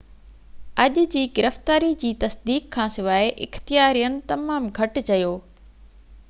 اڄ جي گرفتاري جي تصديق کان سواءِ اختيارين تمام گهٽ چيو